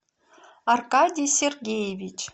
аркадий сергеевич